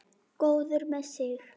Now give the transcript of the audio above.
Góður með sig.